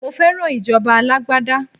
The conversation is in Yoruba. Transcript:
Mo fẹ́ràn ìjọba alágbádá.